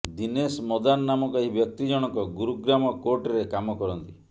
ଦିନେଶ ମଦାନ ନାମକ ଏହି ବ୍ୟକ୍ତି ଜଣଙ୍କ ଗୁରୁଗ୍ରାମ କୋର୍ଟରେ କାମ କରନ୍ତି